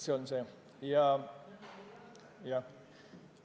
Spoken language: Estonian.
See on see mõte.